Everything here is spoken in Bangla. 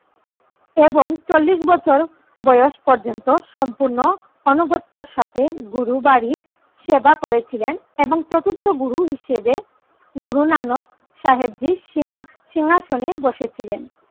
এবং চল্লিশ বছর বয়স পর্যন্ত সম্পূর্নু আনুগত্যর সাথে গুরুবারির সেবা করে ছিলেন এবং চতুর্থ গুরু হিসেবে গুরু নানক সাহেবজীর সিংহা সিংহাসনে বসে ছিলেন।